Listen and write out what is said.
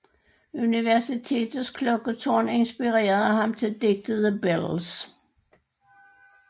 Universitetets klokketårn inspirerede ham til digtet The Bells